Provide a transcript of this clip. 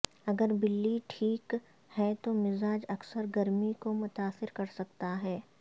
اگر بلی ٹھیک ہے تو مزاج اکثر گرمی کو متاثر کرسکتا ہے